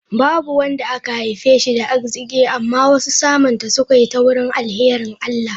Babu wanda aka haife shi da arziki, amma wasu samunta sukayi ta wurin alharin Allah.